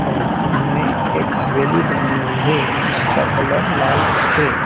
और सामने एक हवेली बनी हुई है जिसका कलर लाल है।